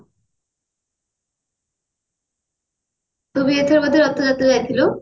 ତୁ ବି ଏଥେର ବୋଧେ ରଥ ଯାତ୍ରା କୁ ଯାଇଥିଲୁ